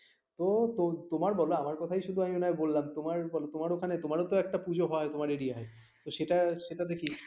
তো তোমার বলো আমার কথাই আমি শুধু বললাম তোমার বলো তোমার ওখানে তোমারও তো একটা পূজো হয় তোমার area এ তো সেটা কি হয়